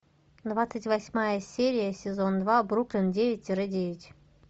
двадцать восьмая серия сезон два бруклин девять тире девять